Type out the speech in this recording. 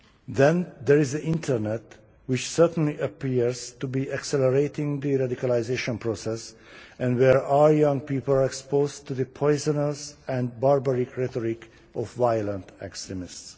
Then there is the internet, which certainly appears to be accelerating the radicalisation process and where our young people are exposed to the poisonous and barbaric rhetoric of violent extremists.